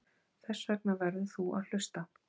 Þessvegna verður þú að hlusta.